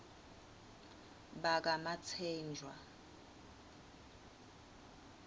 bakamatsenjwa